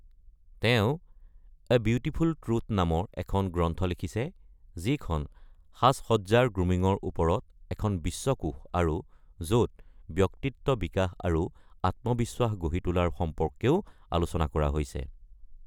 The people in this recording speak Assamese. তেওঁ এ বিউটিফুল ট্ৰুথ নামৰ এখন গ্ৰন্থ লিখিছে যি খন "সাজ-সজ্জাৰ গ্ৰুমিঙৰ ওপৰত এখন বিশ্বকোষ আৰু য’ত ব্যক্তিত্ব বিকাশ আৰু আত্মবিশ্বাস গঢ়ি তোলাৰ সম্পৰ্কেও আলোচনা কৰা হৈছে"।